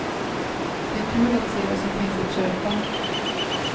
Det är kul att se vad som finns att köpa.